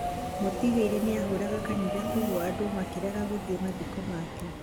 mũtigairĩ nĩahũraga kanitha kwoguo andũ makĩrega gũthiĩ mathiko maake